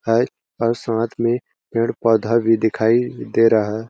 है और साथ में पेड़ -पौधा भी दिखाई दे रहा--